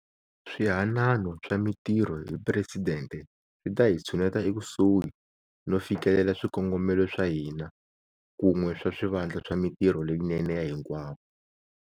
Swihanano swa Mitirho hi Presidente swi ta hi tshuneta ekusuhi no fikelela swikongomelo swa hina kun'we swa swivandla swa mitirho leyinene ya hinkwavo.